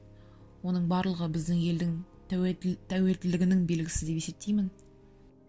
оның барлығы біздің елдің тәуелділігінің белгісі деп есептеймін